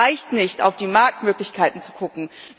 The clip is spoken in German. Es reicht nicht, auf die Marktmöglichkeiten zu gucken.